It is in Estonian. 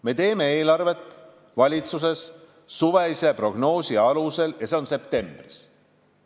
Me teeme valitsuses eelarvet suvise prognoosi alusel, see toimub septembris.